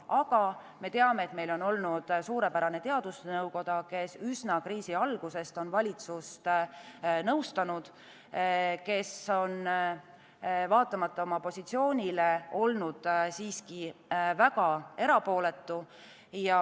Aga me teame, et meil on olnud suurepärane teadusnõukoda, kes üsna kriisi algusest on valitsust nõustanud, kes on vaatamata oma positsioonile olnud siiski väga erapooletu.